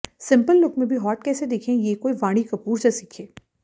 simple look में भी hot कैसे दिखें ये कोई वाणी कपूर से सीखे